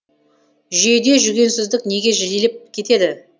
жүйеде жүгенсіздік неге жиілеп кетті